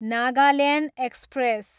Nagaland express